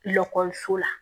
la